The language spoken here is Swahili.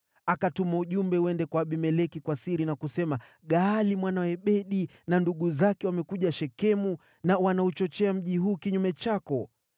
Akatuma ujumbe uende kwa Abimeleki kwa siri na kusema, “Gaali mwana wa Ebedi na ndugu zake wamekuja Shekemu, na wanauchochea mji huu kinyume chako.